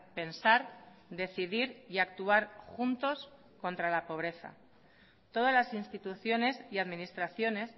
pensar decidir y actuar juntos contra la pobreza todas las instituciones y administraciones